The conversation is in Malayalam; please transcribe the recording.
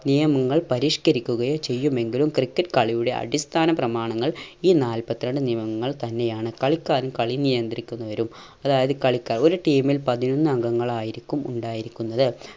നിയമങ്ങൾ പരിഷ്‌ക്കരിക്കുകയോ ചെയ്യുമെങ്കിലും ക്രിക്കറ്റ് കളിയുടെ അടിസ്ഥാന പ്രമാണങ്ങൾ ഈ നാല്പത്രണ്ട് നിയമങ്ങൾ തന്നെയാണ്. കളിക്കാരും കളി നിയന്ത്രിക്കുന്നവരും അതായത് കളിക്കാർ ഒരു team ൽ പതിനൊന്ന് അംഗങ്ങളായിരിക്കും ഉണ്ടായിരിക്കുന്നത്.